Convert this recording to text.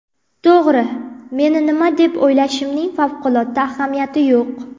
To‘g‘ri, meni nima deb o‘ylashimning favqulodda ahamiyati yo‘q.